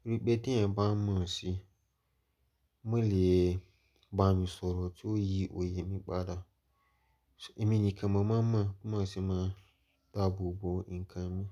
Torí pé tí ẹ̀yin bá mọ̀ ọ́ ṣé, wọ́n lè gbá mi sọ̀rọ̀ tí ó yí òye mi padà. Ẹ̀mi nìkan mo máa mọ̀ bí mo ṣe máa ń dáàbò bo nǹkan mi.